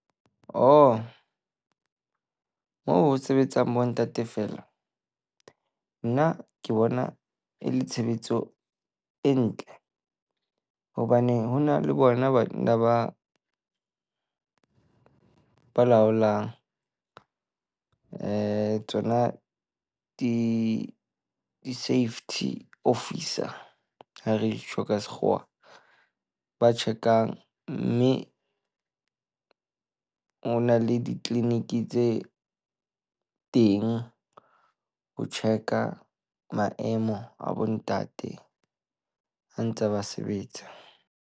Oho moo ho sebetsang bontate feela. Nna ke bona e le tshebetso e ntle hobane ho na le bona banna ba ba laolang. Eh tsona di-safety officer ha re e tjho ka Sekgowa. Ba check-ang. Mme ho na le di-clinic tse teng, ho check-a maemo a bontate ha ba ntse ba sebetsa.